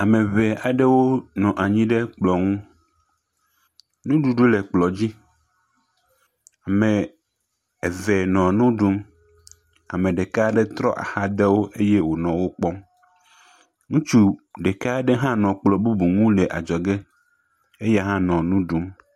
Ame eve aɖewo nɔ anyi ɖe kplɔ ŋu. nuɖuɖu aɖewo le kplɔ dzi. Ame eve nɔ nu ɖum. Ame ɖeka aɖewo trɔ axa de wo eye wonɔ wokpɔm. Ŋutsu ɖeka aɖe hã le kplɔ bubu nu le adzɔ ge, eya hã nɔ nu ɖum.